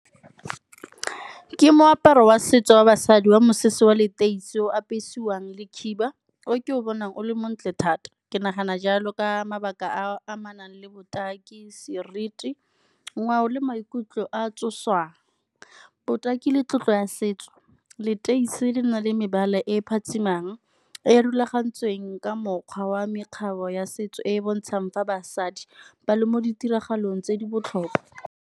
Ke moaparo wa setso wa basadi wa mosese wa leteisi o apesiwang le khiba o ke o bonang o le montle thata. Ke nagana jalo ka mabaka a a amanang le botaki, seriti, ngwao le maikutlo a tsosang. Botaki le tlotlo ya setso leteisi le le nang le mebala e phatsimang e e rulagantsweng ka mokgwa wa mekgatlho ya setso e e bontshang fa basadi ba le mo ditiragalong tse di botlhokwa.